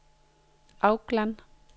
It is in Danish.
Auckland